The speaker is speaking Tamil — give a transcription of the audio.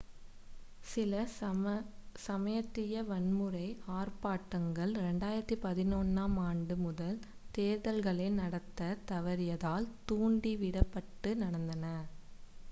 சில சமயத்திய-வன்முறை ஆர்ப்பாட்டங்கள் 2011-ம் ஆண்டு முதல் தேர்தல்களை நடத்தத் தவறியதால் தூண்டிவிடப்பட்டு நடந்தன